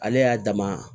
Ale y'a dama